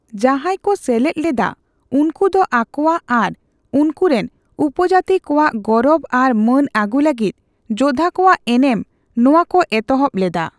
ᱡᱟᱦᱟᱸᱭ ᱠᱚ ᱥᱮᱞᱮᱫ ᱞᱮᱫᱟ ᱩᱱᱠᱩ ᱫᱚ ᱟᱠᱚᱣᱟᱜ ᱟᱨ ᱩᱱᱠᱩ ᱨᱮᱱ ᱩᱯᱚᱡᱟᱹᱛᱤ ᱠᱚᱣᱟᱜ ᱜᱚᱨᱚᱵ ᱟᱨ ᱢᱟᱹᱱ ᱟᱹᱜᱩ ᱞᱟᱹᱜᱤᱫ ᱡᱳᱫᱷᱟ ᱠᱚᱣᱟᱜ ᱮᱱᱮᱢ ᱱᱚᱣᱟ ᱠᱚ ᱮᱛᱚᱦᱚᱵ ᱞᱮᱫᱟ ᱾